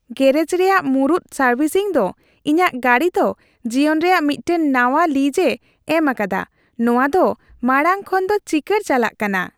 ᱜᱮᱹᱨᱮᱡ ᱨᱮᱭᱟᱜ ᱢᱩᱲᱩᱫ ᱥᱟᱨᱵᱷᱤᱥᱤᱝ ᱫᱚ ᱤᱧᱟᱹᱜ ᱜᱟᱹᱰᱤ ᱫᱚ ᱡᱤᱭᱚᱱ ᱨᱮᱭᱟᱜ ᱢᱤᱫᱴᱟᱝ ᱱᱟᱶᱟ ᱞᱤᱡᱽ ᱮ ᱮᱢ ᱟᱠᱟᱫᱟ; ᱱᱚᱶᱟ ᱫᱚ ᱢᱟᱲᱟᱝ ᱠᱷᱚᱱ ᱫᱚ ᱪᱤᱠᱟᱹᱲ ᱪᱟᱞᱟᱜ ᱠᱟᱱᱟ ᱾